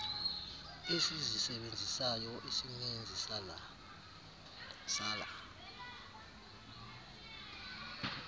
esizisebenzisayo isininzi sala